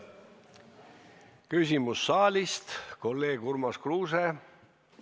Küsimus saalist, kolleeg Urmas Kruuse, palun!